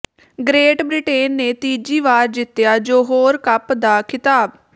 great Britain ਨੇ ਤੀਜੀ ਵਾਰ ਜਿੱਤਿਆ ਜੋਹੋਰ ਕੱਪ ਦਾ ਖ਼ਿਤਾਬ